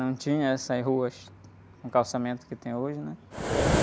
Não tinha essas ruas, com o calçamento que tem hoje, né?